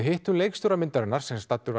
hittum leikstjóra myndarinnar sem var staddur